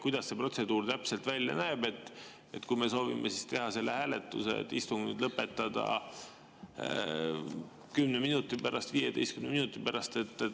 Kuidas see protseduur täpselt välja näeb, kui me soovime teha selle hääletuse, et istung lõpetada 10 minuti pärast või 15 minuti pärast?